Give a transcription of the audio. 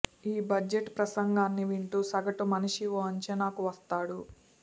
ఈ బడ్జెట్ ప్రసంగాన్ని వింటూ సగటు మనిషి ఓ అంచనాకు వస్తాడు